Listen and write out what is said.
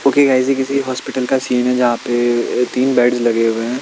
Okay guys ये किसी hospital का सिन है जहा पे तीन बेड्स लगे हुए हैं।